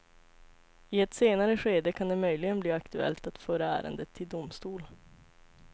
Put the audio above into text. I ett senare skede kan det möjligen bli aktuellt att föra ärendet till domstol.